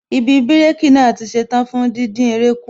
Ibi bírékī naa tí ṣetán fún díndín eré kù